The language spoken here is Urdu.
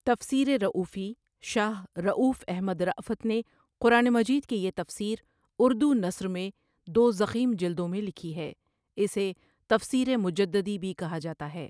تفسیر رؤفی شاہ رؤف احمد رافت نے قرآن مجید کی یہ تفسیر اردو نثر میں دو ضخیم جلدوں میں لکھی ہے اسے تفسیر مجددی بھی کہا جاتا ہے۔